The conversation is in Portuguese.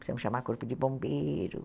Precisamos chamar corpo de bombeiro.